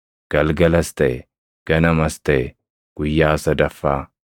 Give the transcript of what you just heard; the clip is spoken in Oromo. Galgalas taʼe; ganamas taʼe; guyyaa sadaffaa.